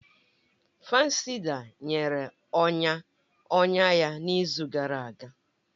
Fansida nyere ọnya ọnya ya n'izu gara aga